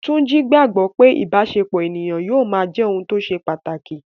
Túnjí gbogbo pé ìbáṣepọ̀ ènìyàn yóò máa jẹ́ ohun tó ṣe pàtàkì